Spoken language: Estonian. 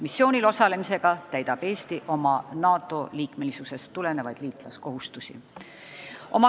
Missioonil osalemisega täidab Eesti oma NATO-liikmesusest tulenevaid liitlaskohustusi.